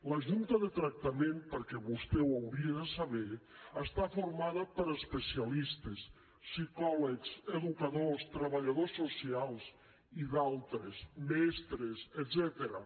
la junta de tractament perquè vostè ho hauria de saber està formada per especialistes psicòlegs educadors treballadors socials i altres mestres etcètera